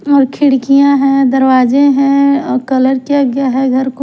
और खिड़कियाँ हैं दरवाजे हैंऔर कलर किया गया है घर को--